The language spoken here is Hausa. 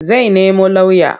Zai nemo lauya.